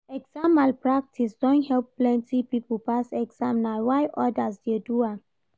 Exam malpractice don help plenty pipo pass exam na why odas dey do am.